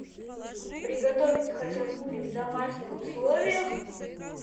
приготовить хачапури в домашних условиях